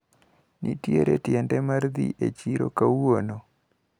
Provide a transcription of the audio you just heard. Nitiere tiende mar dhi e chiro kawuono.